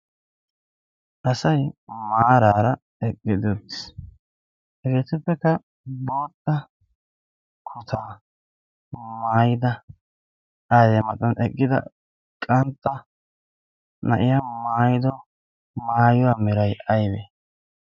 asay maaraara eqgidoo biiis. hegeetuppekka bootta kuta maayida adee maxan eqgida qantta na'ya maayido maayuwaa meray aybee?